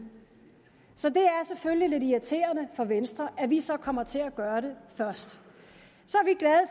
så det er selvfølgelig lidt irriterende for venstre at vi så kommer til at gøre det først